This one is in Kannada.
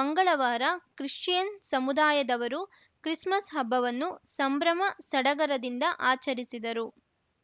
ಮಂಗಳವಾರ ಕ್ರಿಶ್ಚಿಯನ್‌ ಸಮುದಾಯದವರು ಕ್ರಿಸ್‌ಮಸ್‌ ಹಬ್ಬವನ್ನು ಸಂಭ್ರಮ ಸಡಗರದಿಂದ ಆಚರಿಸಿದರು